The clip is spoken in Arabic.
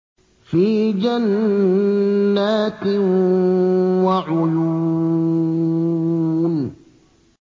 فِي جَنَّاتٍ وَعُيُونٍ